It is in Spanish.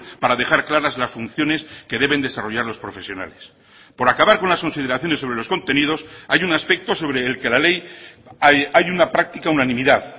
para dejar claras las funciones que deben desarrollar los profesionales por acabar con las consideraciones sobre los contenidos hay un aspecto sobre el que la ley hay una práctica unanimidad